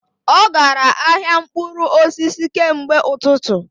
Ọ gara ahịa mkpụrụ osisi kemgbe ụtụtụ